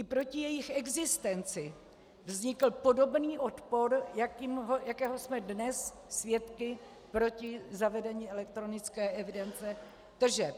I proti jejich existenci vznikl podobný odpor, jakého jsme dnes svědky proti zavedení elektronické evidence tržeb.